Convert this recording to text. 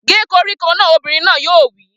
Gé koríko náà! Obìnrin náà yóò wí